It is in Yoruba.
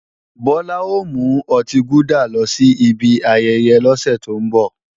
Bọlá ò mú ọtí gúdà lọ sí ibi ayẹyẹ lọ́sẹ̀ tó ń bọ̀